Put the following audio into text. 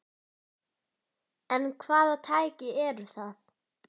En hvaða tæki eru það?